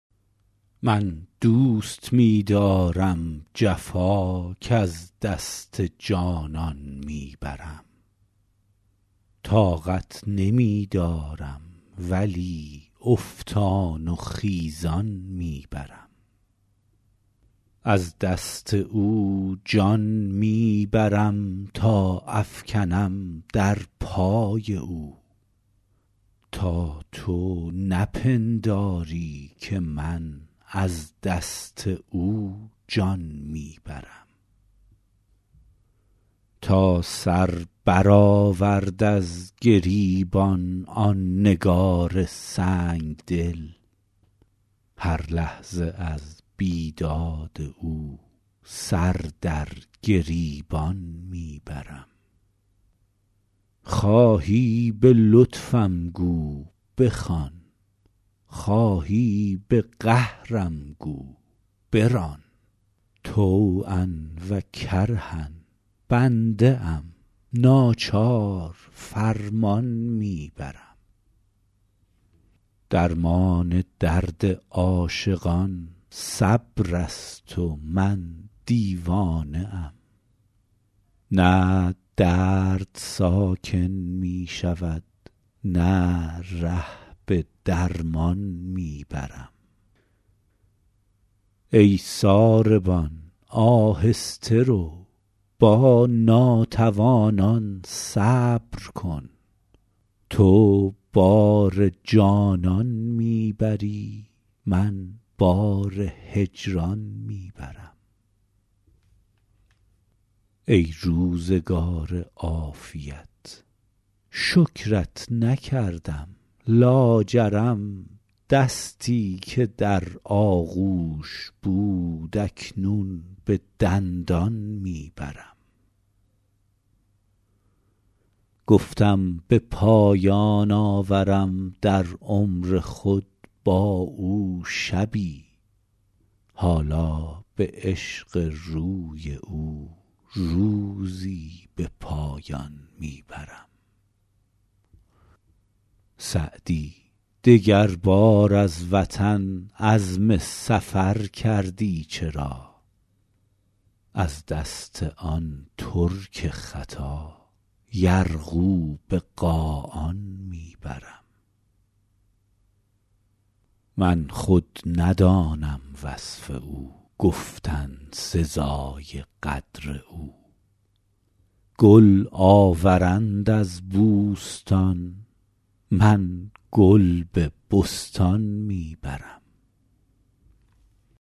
من دوست می دارم جفا کز دست جانان می برم طاقت نمی دارم ولی افتان و خیزان می برم از دست او جان می برم تا افکنم در پای او تا تو نپنداری که من از دست او جان می برم تا سر برآورد از گریبان آن نگار سنگ دل هر لحظه از بیداد او سر در گریبان می برم خواهی به لطفم گو بخوان خواهی به قهرم گو بران طوعا و کرها بنده ام ناچار فرمان می برم درمان درد عاشقان صبر است و من دیوانه ام نه درد ساکن می شود نه ره به درمان می برم ای ساربان آهسته رو با ناتوانان صبر کن تو بار جانان می بری من بار هجران می برم ای روزگار عافیت شکرت نکردم لاجرم دستی که در آغوش بود اکنون به دندان می برم گفتم به پایان آورم در عمر خود با او شبی حالا به عشق روی او روزی به پایان می برم سعدی دگربار از وطن عزم سفر کردی چرا از دست آن ترک خطا یرغو به قاآن می برم من خود ندانم وصف او گفتن سزای قدر او گل آورند از بوستان من گل به بستان می برم